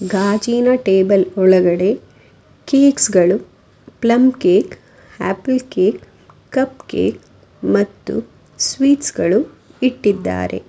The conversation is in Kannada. ಗಾಜಿನ ಟೇಬಲ್ ಒಳಗಡೆ ಕೆಕ್ಸ್ ಗಳು plum cake apple cake cup cake ಮತ್ತು ಸ್ವೀಟ್ಸ್ ಗಳು ಇಟ್ಟಿದ್ದಾರೆ.